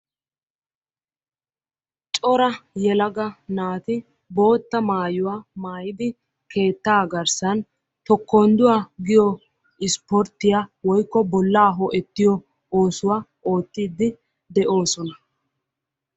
Cora yelaga naati bootta maayuwa maayidi keettaa garssan tokondduwa giyo ispporttiyaa woyikko bollaa ho"ettiyo oosuwa oottidi de'oosona.